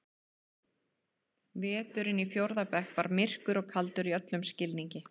Veturinn í fjórða bekk var myrkur og kaldur í öllum skilningi.